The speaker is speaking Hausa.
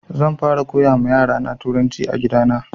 Zan fara koya ma yara na turanci a gida na